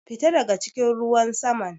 Fita daga cikin ruwan saman!